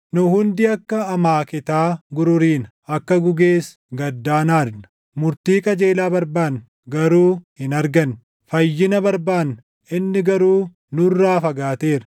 Nu hundi akka amaaketaa gururiina; akka gugees gaddaan aadna. Murtii qajeelaa barbaanna; garuu hin arganne; fayyina barbaanna; inni garuu nurraa fagaateera.